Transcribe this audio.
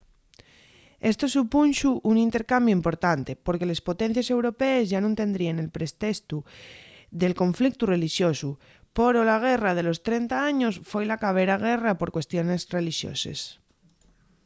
esto supunxo un intercambiu importante porque les potencies europees yá nun tendríen el pretestu del conflictu relixosu poro la guerra de los trenta años foi la cabera guerra por cuestiones relixoses